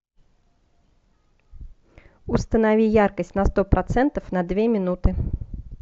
установи яркость на сто процентов на две минуты